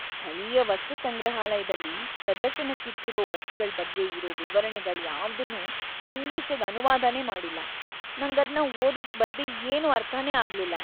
ಸ್ಥಳೀಯ ವಸ್ತುಸಂಗ್ರಹಾಲಯ್ದಲ್ಲಿ ಪ್ರದರ್ಶನಕ್ಕಿಟ್ಟಿರೋ ವಸ್ತುಗಳ್‌ ಬಗ್ಗೆ ಇರೋ ವಿವರಣೆಗಳ್ಯಾವ್ದನ್ನೂ ಇಂಗ್ಲಿಷಿಗ್‌ ಅನುವಾದನೇ ಮಾಡಿಲ್ಲ, ನಂಗದ್ನ ಓದೋಕ್‌ ಬರ್ದೇ ಏನೂ ಅರ್ಥನೇ ಆಗ್ಲಿಲ್ಲ.